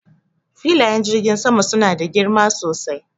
Filayen jirgin sama suna da girma sosai.